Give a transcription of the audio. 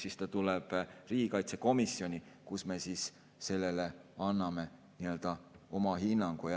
See tuleb riigikaitsekomisjoni, kus me anname sellele oma hinnangu.